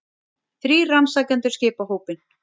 Þrír rannsakendur skipa hópinn